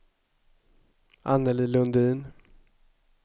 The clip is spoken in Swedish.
Anneli Lundin